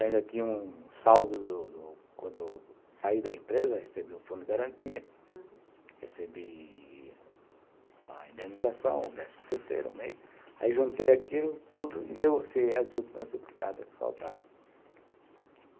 Ainda tinha um saldo do do quando eu saí da empresa, recebi o fundo de garantia, uhum, recebi a indenização, o décimo terceiro mês, aí juntei aquilo tudo e negociei as últimas duplicadas que faltavam.